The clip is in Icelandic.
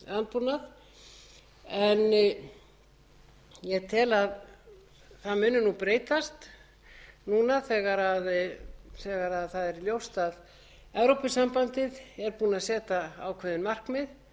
lífrænan landbúnað en ég tel að það muni breytast núna þegar það er ljóst að evrópusambandið er búið að setja ákveðin markmið